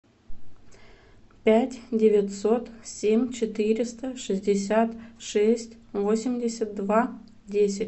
пять девятьсот семь четыреста шестьдесят шесть восемьдесят два десять